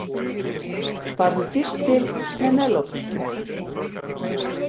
Farðu fyrst til Penélope.